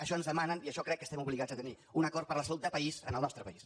això ens demanen i això crec que estem obligats a tenir un acord per la salut de país en el nostre país